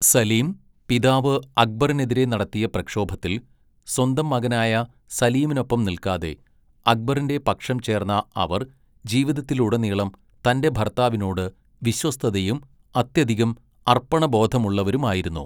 സലീം പിതാവ് അക്ബറിനെതിരെ നടത്തിയ പ്രക്ഷോഭത്തിൽ, സ്വന്തം മകനായ സലീമിനൊപ്പം നിൽക്കാതെ അക്ബറിന്റെ പക്ഷം ചേർന്ന അവർ ജീവിതത്തിലുടനീളം തന്റെ ഭർത്താവിനോട് വിശ്വസ്തയും അത്യധികം അർപ്പണബോധമുള്ളവരുമായിരുന്നു.